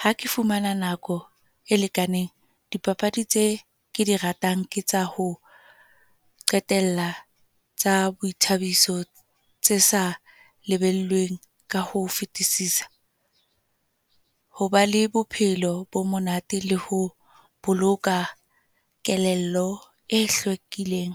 Ha ke fumana nako e lekaneng, dipapadi tse ke di ratang, ke tsa ho qetela, tsa boithabiso tse sa lebellwang ka ho fetisisa. Hoba le bophelo bo monate le ho boloka kelello e hlwekileng.